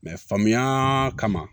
faamuya kama